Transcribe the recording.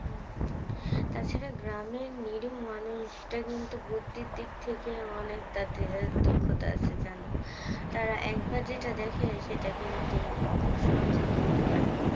তাছাড়া গ্রামের নিরিহ মানুষরা কিন্তু বুদ্ধির দিক থেকে অনেকটা দেহের দক্ষতা আছে যান? তারা একবার যেটা দেখে সেটা কিন্তু খুব সহজে করতে পারে